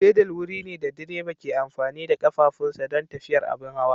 Fedal wuri ne da direba ke amfani da ƙafafunsa don tafiyar abin hawa.